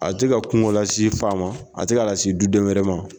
A tɛ ka kungo la si faama a tɛ ka lasi du den wɛrɛ ma.